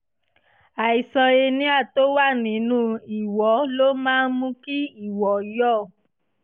àìsàn hernia tó wà nínú ìwọ́ ló máa ń mú kí ìwọ́ yọ